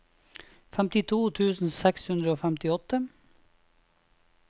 femtito tusen seks hundre og femtiåtte